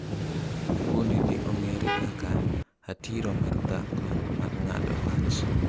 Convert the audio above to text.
Fund ni ong’ere kaka ‘Hatiro mar dhako mar ng’ado wach’.